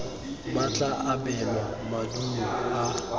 ba tla abelwa maduo a